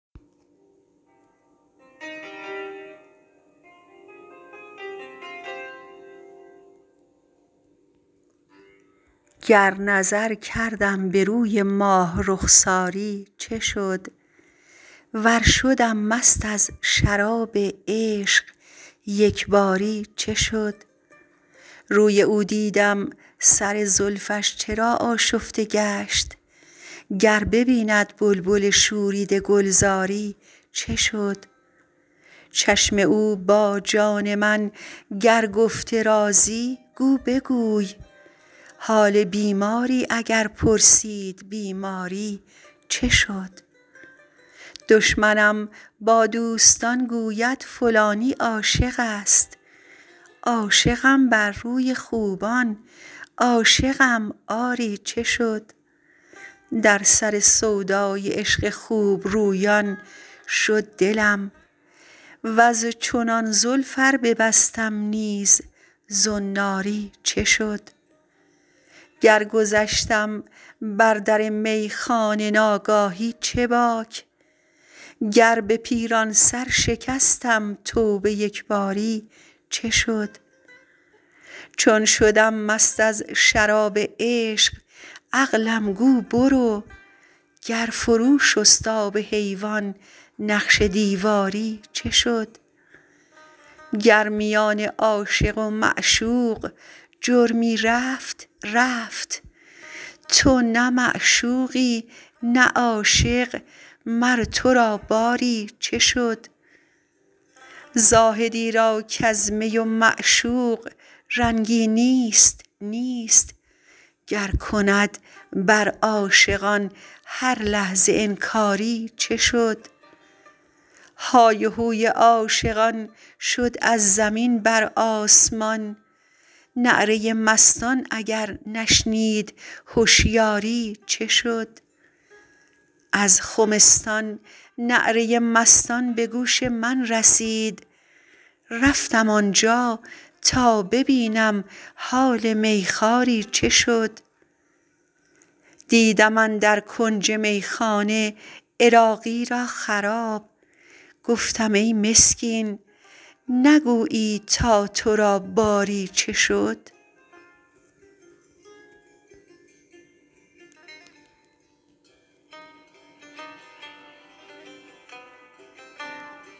گر نظر کردم به روی ماه رخساری چه شد ور شدم مست از شراب عشق یکباری چه شد روی او دیدم سر زلفش چرا آشفته گشت گر نبیند بلبل شوریده گلزاری چه شد چشم او با جان من گر گفته رازی گو بگوی حال بیماری اگر پرسید بیماری چه شد دشمنم با دوستان گوید فلانی عاشق است عاشقم بر روی خوبان عاشقم آری چه شد در سر سودای عشق خوبرویان شد دلم وز چنان زلف ار ببستم نیز زناری چه شد گر گذشتم بر در میخانه ناگاهی چه باک گر به پیران سر شکستم توبه یکباری چه شد چون شدم مست از شراب عشق عقلم گو برو گر فرو شست آب حیوان نقش دیواری چه شد گر میان عاشق و معشوق جرمی رفت رفت تو نه معشوقی نه عاشق مر تو را باری چه شد زاهدی را کز می و معشوق رنگی نیست نیست گر کند بر عاشقان هر لحظه انکاری چه شد های و هوی عاشقان شد از زمین بر آسمان نعره مستان اگر نشنید هشیاری چه شد از خمستان نعره مستان به گوش من رسید رفتم آنجا تا ببینم حال میخواری چه شد دیدم اندر کنج میخانه عراقی را خراب گفتم ای مسکین نگویی تا تو را باری چه شد